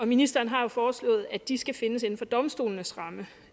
ministeren har jo foreslået at de skal findes inden for domstolenes ramme